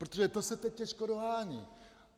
Protože to se teď těžko dohání.